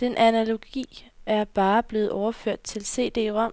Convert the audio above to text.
Den analogi er bare blevet overført til CD rom,